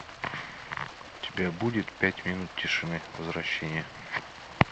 у тебя будет пять минут тишины возвращение